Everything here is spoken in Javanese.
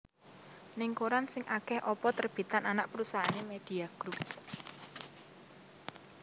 Ning koran sing ake opo terbitan anak perusahaane Media Group?